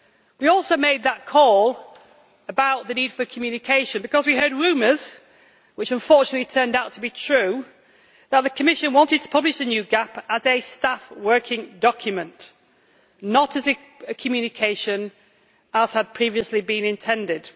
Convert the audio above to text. We also made that call about the need for communication because we heard rumours, which unfortunately turned out to be true, that the Commission wanted to publish the new GAP as a staff working document, not as a communication, as had previously been intended.